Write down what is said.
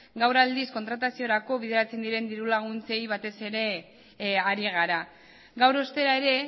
gaur aldiz kontrataziorako bideratzen dirulaguntzei batez ere ari gara gaur ostera ere